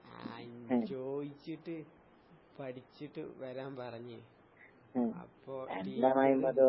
ആഹ് ഇന്ന് ചോയിച്ചിട്ട് പഠിച്ചിട്ട് വരാൻ പറഞ്ഞ്. അപ്പൊ ടീച്ചറ്